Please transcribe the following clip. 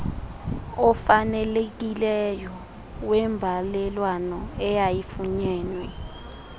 ofanelekileyo wembalelwano eyayifunyenwe